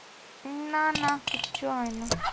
না না কিচ্ছু হয় না